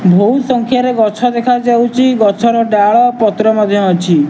ଭୋଉ ସଂଖ୍ୟାରେ ଗଛ ଦେଖାଯାଉଚି ଗଛର ଡାଳ ପତ୍ର ମଧ୍ୟ ଅଛି।